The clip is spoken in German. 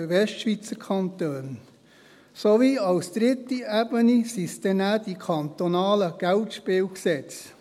Auf der dritten Ebene gibt es dann die kantonalen Geldspielgesetze.